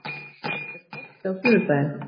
Hilmir, er bolti á sunnudaginn?